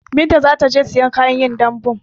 Binta zataje ta siyo kayan yin dambun